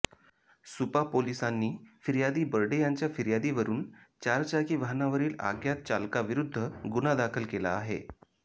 सुपा पोलिसांनी फिर्यादी बर्डे यांच्या फिर्यादीवरुन चारचाकी वाहनावरील आज्ञात चालका विरुद्ध गुन्हा दाखल केला आहे